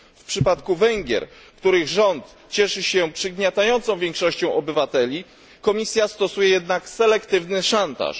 W przypadku Węgier, których rząd cieszy się poparciem przygniatającej większości obywateli, Komisja stosuje jednak selektywny szantaż.